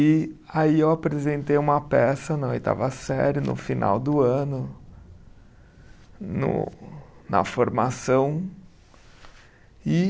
E aí eu apresentei uma peça na oitava série, no final do ano, no na formação. E